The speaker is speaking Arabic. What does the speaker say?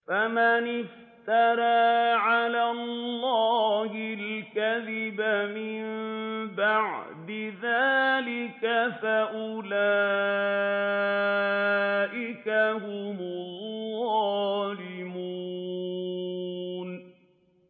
فَمَنِ افْتَرَىٰ عَلَى اللَّهِ الْكَذِبَ مِن بَعْدِ ذَٰلِكَ فَأُولَٰئِكَ هُمُ الظَّالِمُونَ